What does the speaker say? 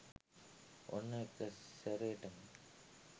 ඔන්න එකසැරේටම